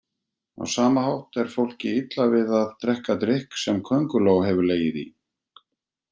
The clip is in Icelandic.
Á sama hátt er fólki illa við að drekka drykk sem könguló hefur legið í.